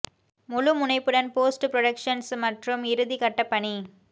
முழு முனைப்புடன் post productions மற்றும் இறுதி கட்ட பணி